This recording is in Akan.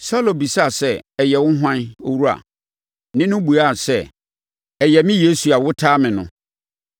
Saulo bisaa sɛ, “Ɛyɛ wo hwan, Owura?” Nne no buaa sɛ, “Ɛyɛ me Yesu a wotaa me no.”